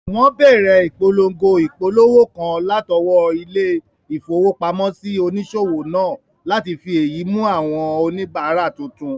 Wọ́n bẹ̀rẹ̀ ìpolongo ìpolówó kan látọwọ́ ilé-ìfowópamọ́sí onísòwò náà láti fi èyí mú àwọn oníbàárà tuntun